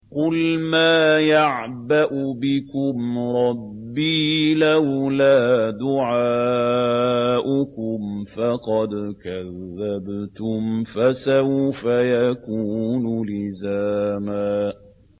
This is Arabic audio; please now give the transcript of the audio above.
قُلْ مَا يَعْبَأُ بِكُمْ رَبِّي لَوْلَا دُعَاؤُكُمْ ۖ فَقَدْ كَذَّبْتُمْ فَسَوْفَ يَكُونُ لِزَامًا